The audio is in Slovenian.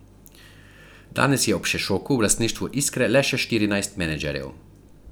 Danes je ob Šešoku v lastništvu Iskre le še štirinajst menedžerjev.